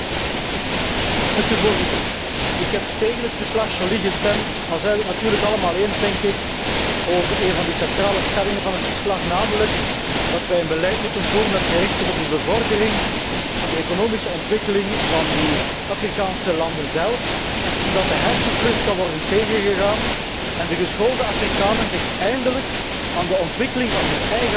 Voorzitter, ik heb tegen het verslag Joly gestemd, al zijn we het natuurlijk allemaal eens, denk ik, over een van de centrale stellingen van het verslag, namelijk dat wij een beleid moeten voeren dat gericht is op de bevordering van de economische ontwikkeling van de Afrikaanse landen zelf, zodat de hersenvlucht kan worden tegengegaan en de geschoolde Afrikanen zich eindelijk aan de ontwikkeling van hun eigen land kunnen wijden.